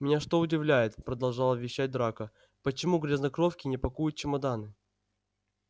меня что удивляет продолжал вещать драко почему грязнокровки не пакуют чемоданы